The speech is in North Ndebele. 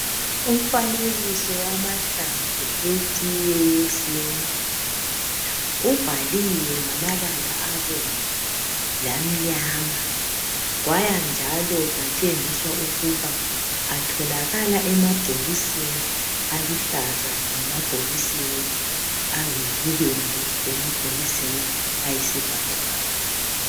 Umfanekiso wamahlamvu etiye yesintu. Ubhaliwe ngamabala abomvu lamnyama. Kwaya njalo kwatshengiswa ukuba, atholakala emabhokisini aluhlaza, lemabhokisini ayibubende, lemabhokisi ayisibhakabhaka.